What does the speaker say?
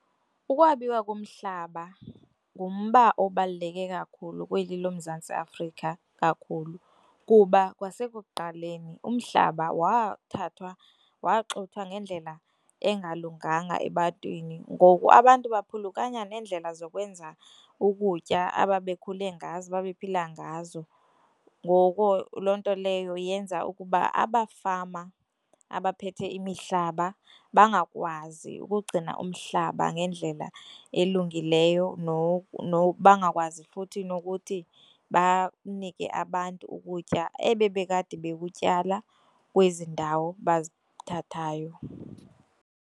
Ukwabiwa komhlaba ngumba obaluleke kakhulu kweli loMzantsi Afrika kakhulu, kuba kwasekuqaleni umhlaba wathathwa waxuthwa ngendlela engalunganga ebantwini ngoku abantu baphulukana neendlela zokwenza ukutya ababekhule ngazo ababephila ngazo. Ngoko loo nto leyo yenza ukuba abafama abaphethe imihlaba bangakwazi ukugcina umhlaba ngendlela elungileyo, bangakwazi futhi nokuthi banike abantu ukutya ebebekade bekutyala kwezi ndawo bazithathayo.